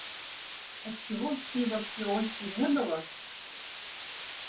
а чего пива в киоске не было